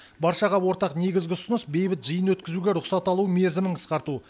баршаға ортақ негізгі ұсыныс бейбіт жиын өткізуге рұқсат алу мерзімін қысқарту